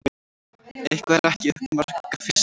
Eitthvað er ekki upp á marga fiska